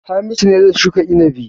Hamisu ne zai shuka inabi.